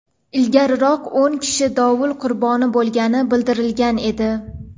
Ilgariroq o‘n kishi dovul qurboni bo‘lgani bildirilgan edi .